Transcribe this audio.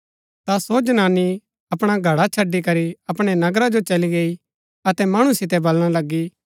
ता सो जनानी अपणा घडा छड़ी करी अपणै नगरा जो चली गई अतै मणु सितै वलणा लगी